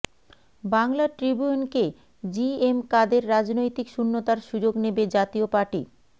বাংলা ট্রিবিউনকে জিএম কাদেররাজনৈতিক শূন্যতার সুযোগ নেবে জাতীয় পার্টি